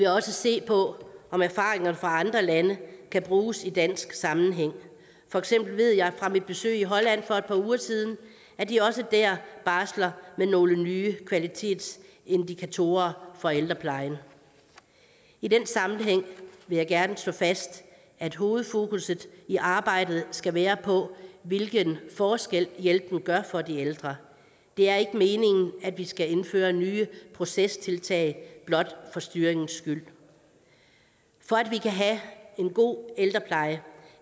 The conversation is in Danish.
også se på om erfaringerne fra andre lande kan bruges i dansk sammenhæng for eksempel ved jeg fra mit besøg i holland for et par uger siden at de også der barsler med nogle nye kvalitetsindikatorer for ældreplejen i den sammenhæng vil jeg gerne slå fast at hovedfokusset i arbejdet skal være på hvilken forskel hjælpen gør for de ældre det er ikke meningen at vi skal indføre nye procestiltag blot for styringens skyld for at vi kan have en god ældrepleje